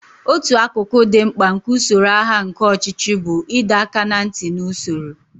Otu akụkụ dị mkpa nke usoro agha nke ọchịchị bụ ịdọ aka ná ntị na usoro.